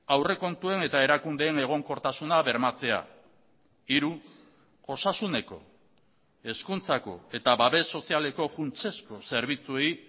aurrekontuen eta erakundeen egonkortasuna bermatzea hiru osasuneko hezkuntzako eta babes sozialeko funtsezko zerbitzuei